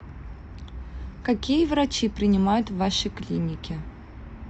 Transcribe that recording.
какие врачи принимают в вашей клинике